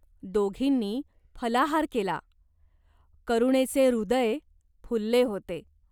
दोघींनी फलाहार केला. करुणेचे हृदय फुलले होते.